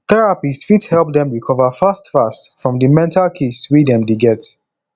therapist fit help dem recover fast fast from di mental case wey dem dey get